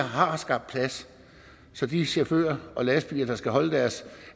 har skabt plads så de chauffører og lastbiler der skal holde deres